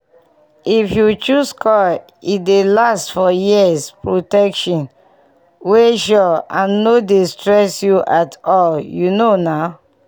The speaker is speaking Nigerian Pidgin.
if you choose coil e dey last for years protection wey sure and no dey stress u at all u know na!